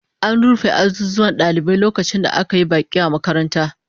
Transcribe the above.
An rufe azuzuwan dalibai lokacin da aka yi baki a makarantar